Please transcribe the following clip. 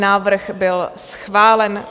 Návrh byl schválen.